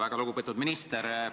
Väga lugupeetud minister!